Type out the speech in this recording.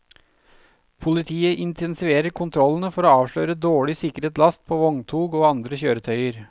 Politiet intensiverer kontrollene for å avsløre dårlig sikret last på vogntog og andre kjøretøyer.